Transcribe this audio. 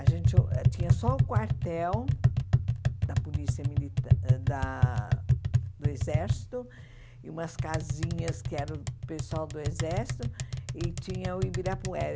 A gente uh tinha só o quartel da polícia militar da do Exército e umas casinhas que eram do pessoal do Exército e tinha o Ibirapuera.